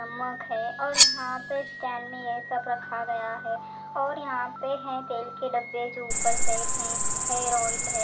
नमक है और यहां पे स्टैन्ड ये सब रखा गया है और यहां पे है तेल के डब्बे जो ऊपर सेट हैं हेर ऑइल है ।